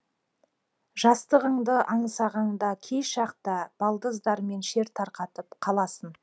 жастығыңды аңсағанда кей шақта балдыздармен шер тарқатып қаласың